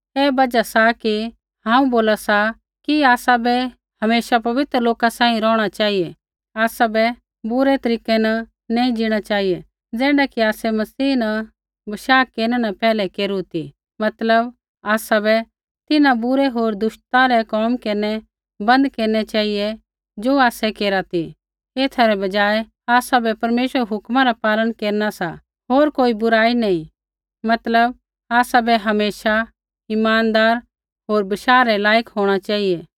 ऐ बजहा सा कि हांऊँ बोला सा कि आसाबै हमेशा पवित्र लोका सांही रौहणा चेहिऐ आसाबै बुरै तरीकै न नैंई ज़ीणा चेहिऐ ज़ैण्ढा कि आसै मसीह न बशाह केरनै न पैहलै केरू ती मतलब आसाबै तिन्हां बुरै होर दुष्टता रै कोम केरनै बन्द केरनै चेहिऐ ज़ो आसै केरा ती एथा रै बजाय आसाबै परमेश्वरा रै हुक्मा रा पालन केरना सा होर कोई बुराई नैंई मतलब आसाबै हमेशा इमानदार होर बशाह रै लायक होंणा चेहिऐ